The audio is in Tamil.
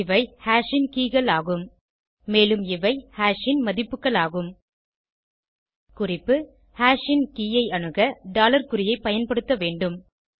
இவை ஹாஷ் ன் keyகள் ஆகும் மேலும் இவை ஹாஷ் ன் மதிப்புகள் ஆகும் குறிப்பு ஹாஷ் ன் கே ஐ அணுக டாலர் குறியை பயன்படுத்த வேண்டும்